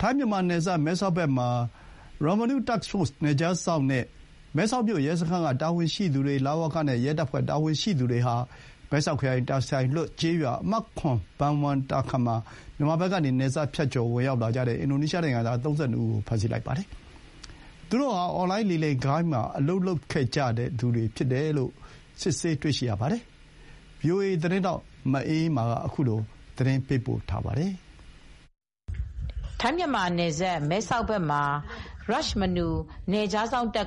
ထိုင်းမြန်မာနယ်စပ် မဲဆောက်ဘက်မှာ Rajmanu Task Forceနယ်ခြားစောင့်နဲ့ မဲဆောက်မြို့ ရဲစခန်းက တာဝန်ရှိသူတွေ လ၀ကရဲတပ်ဖွဲ့ကတာဝန်ရှိသူတွေဟာ မဲဆောက်ခရိုင်၊ တာဆိုင်လွတ်ကျေးရွာ အမှတ် ၊ ဘန်ဝမ်တာခန်မှာ မြန်မာဘက်ကနေ နယ်စပ်ဖြတ်ကျော်ပြီးဝင်လာကြတဲ့ အင်ဒိုနိုင်ငံသား ၃၂ ဦးကို ဖမ်းဆီးလိုက်ပါတယ်။သူတို့ဟာ အွန်လိုင်းလိမ်လည်ဂိုဏ်းမှာအလုပ်လုပ်ပြီးလာခဲ့ကြသူတွေဆိုတာကို စစ်ဆေးတွေ့ရှိတယ်လို့ဆိုပါတယ် ။ဒီသတင်းကိုဗွီအိုအေသတင်းထောက်မအေးအေးမာကသတင်းပေးပို့ထားပါတယ်။ ထိုင်းမြန်မာနယ်စပ်မဲဆောက်ဘက်မှာ Rajmanu Task Forceနယ်ခြားစောင့်က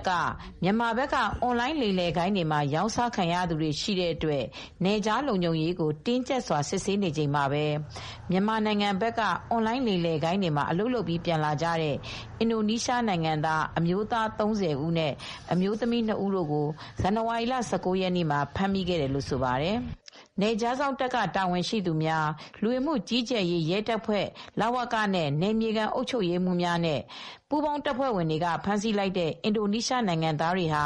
မြန်မာဘက်ကအွန်လိုင်းလိမ်လည်ဂိုဏ်းတွေမှာရောင်းစားခံရသူတွေရှိတဲ့အတွက် နယ်ခြားလုံခြုံရေးကို တင်းကြပ်စွာစစ်ဆေးနေစဉ်မှာပဲ မြန်မာနိုင်ငံဘက်က အွန်လိုင်းလိမ်လည်ဂိုဏ်းတွေမှာအလုပ်လုပ်ပြီး ပြန်လာကြတဲ့ အင်ဒိုနီးရှားနိုင်ငံသား အမျိုးသား၃၀နဲ့အမျိုးသမီး ၂ဦးကို ဇန်နဝါရီလ ၁၉ရက်ေန့မှာ ဖမ်းဆီးမိခဲ့တယ်လို့ဆိုပါတယ် ။ ရာဂျာမနူ Task Force (Rajmanu Task Force) နယ်ခြားစောင့်တပ်က တာဝန်ရှိသူတွေ၊ လူဝင်မှုကြီးကြပ်ရေး ရဲတပ်ဖွဲ့ နဲ့ နယ်မြေခံ အုပ်ချုပ်ရေးမှူးတွေ၊ ပူးပေါင်းတပ်ဖွဲ့ဝင်တွေဖမ်းဆီးလိုက်တဲ့အင်ဒိုနီးရှားနိုင်ငံသားတွေဟာ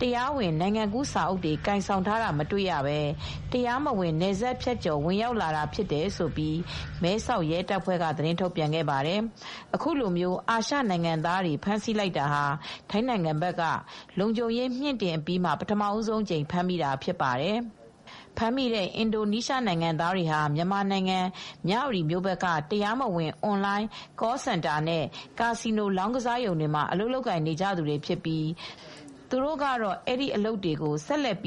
တရားဝင်နိုင်ငံကူး စာအုပ်တွေကိုင်ဆောင်ထားတာမတွေ့ရပဲ တရားမဝင် ဖြတ်ကျော် ဝင်ရောက်လာကြတာဖြစ်တယ်လို့ မဲဆောက်ရဲတပ်ဖွဲ့ က သတင်းထုတ်ပြန်ခဲ့ပါတယ်။ အခုလိုအာရှနိုင်ငံသားတွေဖမ်းဆီးလိုက်တာဟာ ထိုင်းဘက်ကလုံခြုံရေးမြှင့်တင်အပြီးမှာပထမ ဆုံးအကြိမ် ဖမ်းမိတာဖြစ်ပါတယ်။ ဖမ်းမိတဲ့အင်ဒိုနိုင်ငံသားတွေဟာ မြန်မာနိုင်ငံ မြဝတီ ဘက်ကတရားမဝင် အွန်လိုင်း Call Centerနဲ့ ကာစီနို လောင်းကစားရုံတွေတွေမှာ အလုပ်လုပ်ကိုင်နေသူတွေဖြစ်ပြီး သူတို့ကတော့ အဲဒီအလုပ်တွေကို ဆက်လက်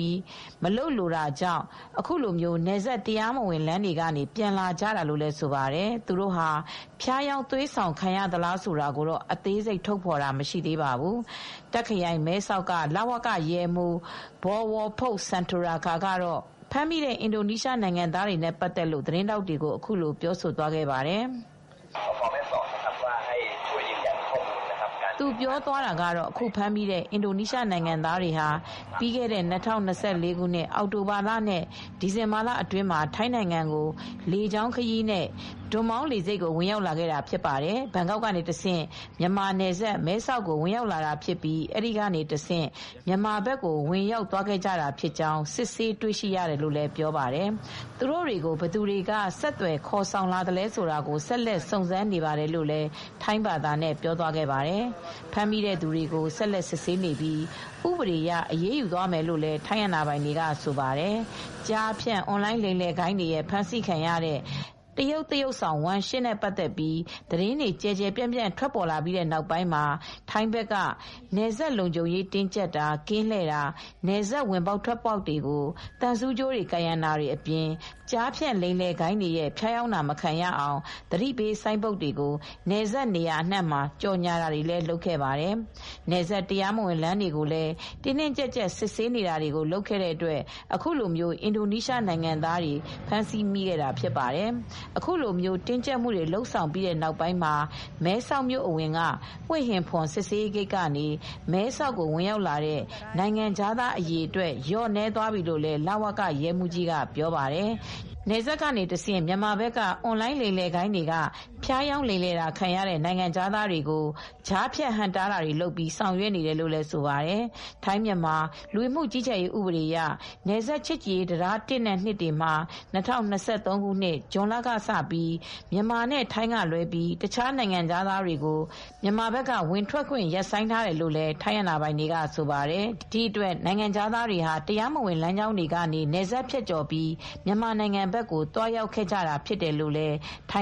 မလုပ်လိုတော့တာကြောင့်အခုလို နယ်စပ်တရားမဝင်လမ်းကနေ ပြန်လာကြတာလို့လည်းဆိုပါတယ်။ သူတို့ဖျားယောင်းသွေးဆောင်ခံရသလားဆိုတာကိုတော့အသေးစိတ်ထုတ်ဖော်တာမရှိသေးပါဘူး။ တာ့ခ်ခရိုင်၊ မဲဆောက်လဝက ရဲမှူး Col. Bowonphop Sunthorarekha က အခုဖမ်းမိတဲ့ အင်ဒိုနီးရှား နိုင်ငံသားတွေဟာ ပြီးခဲ့တဲ့ ၂၀၂၄ အောက်တိုဘာနဲ့ ဒီဇင်ဘာလ အတွင်းမှာ ထိုင်းနိုင်ငံကို လေကြောင်းခရီးနဲ့ ဒွန်မောင်းလေဆိပ်ကို ဝင်ရောက်လာခဲ့ကြသူတွေဖြစ်ပြီး ဘန်ကောက်ကတဆင့် မြန်မာ နယ်စပ် မဲဆောက်ကိုလာရောက်လာဖြစ်သလို အဲဒီကနေတဆင့် မြန်မာဘက်ကိုဝင်ရောက်သွားခဲ့ကြတာဖြစ်ကြောင်း စစ်ဆေးတွေရှိရတယ်လို့ပြောပါတယ်။ သူတိုဟာ ဘယ်သူတွေက ဆက်သွယ်ခေါ်ဆောင်လာတယ်ဆိုတာကို ဆက်လက်စုံစမ်းနေတယ်လို့လည်း ထိုင်းဘာသာနဲ့ပြောသွားခဲ့ပါတယ်။ ဖမ်းမိတဲ့သူတွေကို ဆက်လက်စစ်ဆေးနေပြီး ဥပဒေကအရေးယူသွားမယ်လို့လည်းထိုင်းအာဏာပိုင်တွေကဆိုပါတယ်။ ကျားဖြန့် အွန်လိုင်းလိမ်လည်ဂိုဏ်းတွေရဲ့ဖမ်းဆီးခံရတဲ့ တရုတ်သရုပ်ဆောင်ဝမ်ရှင်းနဲ့ပတ်သက်ပြီး သတင်းတွေကျယ်ကျယ်ပြန့်ပြန့်ထွက်လာပြီးတဲ့နောက်ပိုင်းမှာ ထိုင်းဘက်ကနယ်စပ်ကို လုံခြုံရေးတင်းကြပ်တာ၊ ကင်းလှည့်တာ၊ နယ်စပ်ဝင်ပေါက်ထွက်ပေါက်တွေကို သံဆူးကြိုးတွေကာရံတာတွေအပြင် ကျားဖြန့်လိမ်လည်ဂိုဏ်းတွေရဲ့ ဖျားယောင်းတာမခံရအောင် သတိပေးဆိုင်းဘုတ်တွေကိုနယ်စပ်နေရာအနှံ့မှာ ကြော်ညာခဲ့ပါတယ်။ နယ်စပ်တရားမဝင်လမ်းတွေကိုလည်း တင်းတင်းကြပ်ကြပ်စစ်ဆေးခဲ့တဲ့အတွက်အခုလိုအင်ဒိုနီးရှားနိုင်ငံသားတွေဖမ်းဆီးမိခဲ့တာဖြစ်ပါတယ်။ အခုလိုတင်းကြပ်မှုတွေ လုပ်ဆောင်ပြီးတဲ့နောက်ပိုင်းမှာ မဲဆောက်မြို့အဝင်က "ဟွေဟင်ဖွန်" စစ်ဆေးရေးဂိတ်ကနေ မဲဆောက်ကို ဝင်ရောက်လာတဲ့ နိုင်ငံခြားသား အရေအတွက် လျော့နည်းသွားတယ်လို့လည်း လ၀ကရဲမှူးကြီးက ပြောပါတယ်။ နယ်စပ်ကနေတဆင့်မြန်မာဘက်က အွန်လိုင်းလိမ်လည်ဂိုဏ်းတွေကဖျားယောင်းလိမ်လည်ခံရတဲ့ နိုင်ငံခြားသားတွေကို ကြားဖြတ်ဟန့်တားတွေလုပ်ပြီး ဆောင်ရွက်နေတာလို့လည်းဆိုပါတယ်။ ထိုင်းမြန်မာလူဝင်မှုကြီးကြပ်ရေးဥပဒေအရ နယ်စပ်ချစ်ကြည်ရေးတံတား ၁ နဲ့ ၂တွေမှာ ၂၀၂၃ခုနှစ် ဇွန်လကစပြီး မြန်မာနဲ့ ထိုင်းကလွဲ ပြီးတခြားနိုင်ငံခြားသားတွေကို မြန်မာဘက်ကဝင်ထွက်ခွင့်ရပ်ဆိုင်းထားတယ်လို့လည်း ထိုင်းအာဏာပိုင်တွေကဆိုပါတယ်။ဒီအတွက်နိုင်ငံခြားသားတွေအနေနဲ့ တရားမဝင်လမ်းကြောင်းတွေကနေ နယ်စပ်ဖြတ်ကျော်ပြီး မြန်မာနိုင်ငံဘက်ကို သွားရောက်ခဲ့တာဖြစ်တယ်လို့လည်း ထိုင်